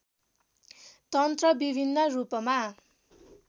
तन्त्र विभिन्न रूपमा